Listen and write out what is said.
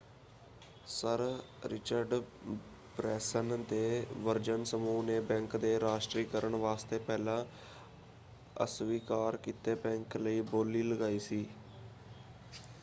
Sir Richard Branson ਦੇ Virgin ਸਮੂਹ ਨੇ ਬੈਂਕ ਦੇ ਰਾਸ਼ਟਰੀਕਰਨ ਵਾਸਤੇ ਪਹਿਲਾਂ ਅਸਵੀਕਾਰ ਕੀਤੇ ਬੈਂਕ ਲਈ ਬੋਲੀ ਲਗਾਈ ਸੀ।